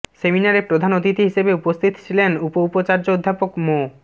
সেমিনারে প্রধান অতিথি হিসেবে উপস্থিত ছিলেন উপউপাচার্য অধ্যাপক মো